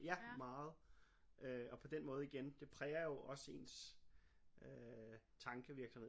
Ja meget øh og på den måde igen det præger jo også ens øh tankevirksomhed